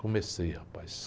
Comecei, rapaz.